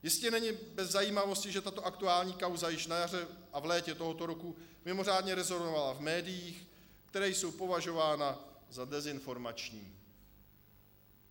Jistě není bez zajímavosti, že tato aktuální kauza již na jaře a v létě tohoto roku mimořádně rezonovala v médiích, která jsou považována za dezinformační.